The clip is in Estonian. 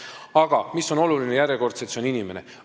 Aga, järjekordselt, oluline on inimene.